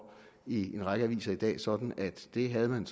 i en række aviser i dag sådan at det havde man